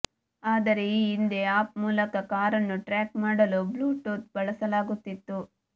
ಆದರೆ ಈ ಹಿಂದೆ ಆಪ್ ಮೂಲಕ ಕಾರನ್ನು ಟ್ರ್ಯಾಕ್ ಮಾಡಲು ಬ್ಲೂಟೂತ್ ಬಳಸಲಾಗುತ್ತಿತ್ತು